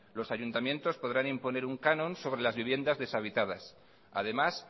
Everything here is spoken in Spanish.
los ayuntamientos podrán imponer un canon sobre las viviendas deshabitadas además